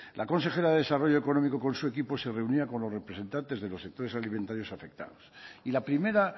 la consejera de desarrollo económico con su equipo se reunía con los representantes de los sectores alimentarios afectados y la primera